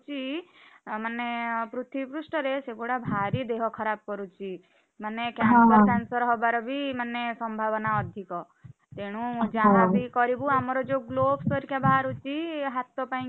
ପଡୁଚି ମାନେ ପୃଥିବୀ ପୃଷ୍ଠରେ ସେଗୁଡା ଭାରି ଦେହ ଖରାପ କରୁଚି। ମାନେ cancer ଫ୍ୟାନସର ହବାର ବି ମାନେ ସମ୍ଭାବନା ଅଧିକ, ତେଣୁ ଯାହାବି କରିବୁ ଆମର ଯୋଉ gloves ହରିକା ବାହାରୁଛିହାତ ପାଇଁ କି,